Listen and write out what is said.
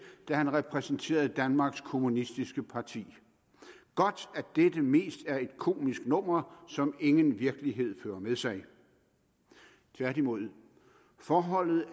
da han repræsenterede danmarks kommunistiske parti godt at dette mest er et komisk nummer som ingen virkelighed fører med sig tværtimod er forholdet